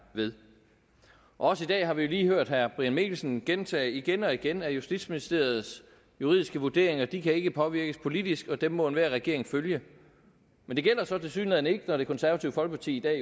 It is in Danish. ved også i dag har vi lige hørt herre brian mikkelsen gentage igen og igen at justitsministeriets juridiske vurderinger ikke kan påvirkes politisk og dem må enhver regering følge men det gælder så tilsyneladende ikke når det konservative folkeparti i dag